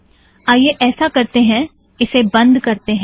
आईये ऐसा करतें हैं - इसे बंद करतें हैं